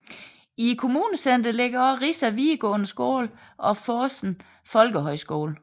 I kommunecenteret ligger også Rissa videregående skole og Fosen folkehøjskole